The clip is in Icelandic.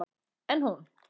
En hún.